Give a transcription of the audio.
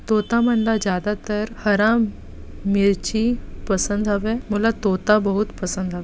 तोता मन ला ज्यादातर हरा मिर्ची पसंद हवय मोला तोता बहुत पसंद हवे